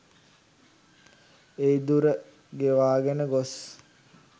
ඒ දුර ගෙවාගෙන ගොස්